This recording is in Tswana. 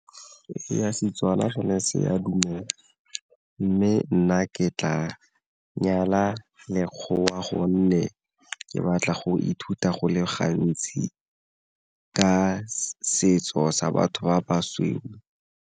Ee, Setswana sone se a dumela, mme nna ke tla nyala lekgowa gonne ke batla go ithuta go le gantsi ka setso sa batho ba ba sweu.